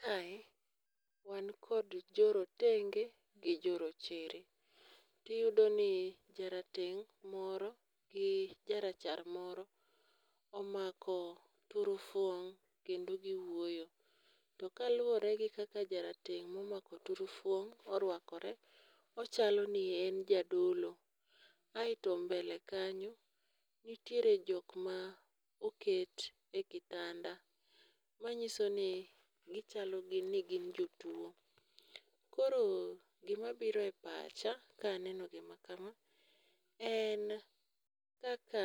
Kae wan kod joretenge gi rochere ti iyudo ni jarateng' moro gi jarachar moro omako tur fung kendo gi wuoyo. To kaluore gi kaka jarateng' ma omako turfuong orwakore, ochalo ni en jadolo. Aito e mbele kanyo nitiere jok ma oket e kitanda ma ng'iso ni gi chalo ni gi jotuo. Koro gi ma biro e pacha ka neno gi ma kama en kaka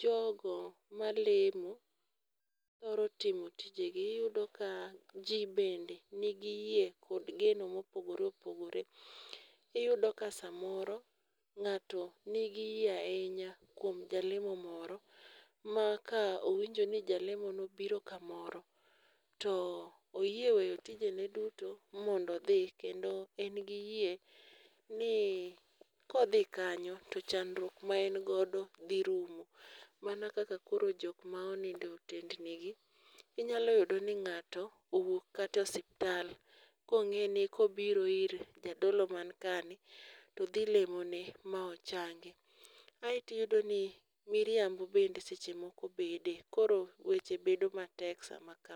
jogo ma lemo thoro timo tije gi. Iyudo ka ji be ni gi yie gi geno ma opogore opogore iyudo ka saa moro ng'ato ni gi yie ainya kuom jalemo moro ma ka owinjo ni jalemo no obiro ka moro to miye oweyo tije ne duto mondo odhi kendo en gi yie ni ka odhi kanyo to chandruok maen godo dhi rumo. Mana kaka jok ma onindo e otendni gi. Inyalo yudo ni ngato owuok kata osiptal ko ng'e ni ka obiro ir jadolo ma kae i to dhi lemo ne ma ochang. Aito iyudo ni miriambo be seche moko bede koro weche bedo matek saa ma kama.